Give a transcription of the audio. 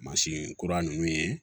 Mansin kura ninnu ye